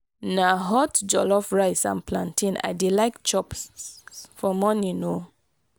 na hot jollof rice and plantain i dey like chop for morning o.